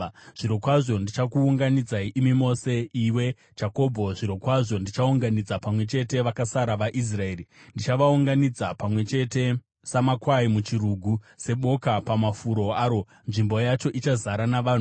“Zvirokwazvo ndichakuunganidzai imi mose, iwe Jakobho; zvirokwazvo ndichaunganidza pamwe chete vakasara vaIsraeri. Ndichavaunganidza pamwe chete samakwai muchirugu, seboka pamafuro aro; nzvimbo yacho ichazara navanhu.